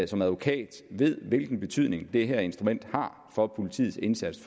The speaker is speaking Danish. som advokat ved hvilken betydning det her instrument har for politiets indsats